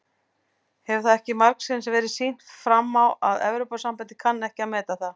Hefur það ekki margsinnis verið sýnt fram á að Evrópusambandið kann ekki að meta það?